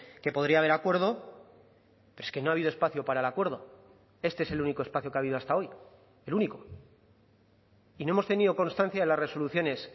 que podría haber acuerdo pero es que no ha habido espacio para el acuerdo este es el único espacio que ha habido hasta hoy el único y no hemos tenido constancia de las resoluciones